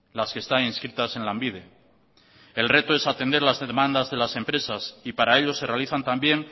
las que están inscritas en lanbide el reto es atender las demandas de las empresas y para ello se realizan también